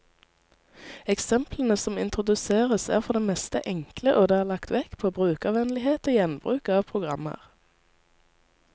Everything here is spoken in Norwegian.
Eksemplene som introduseres, er for det meste enkle, og det er lagt vekt på brukervennlighet og gjenbruk av programmer.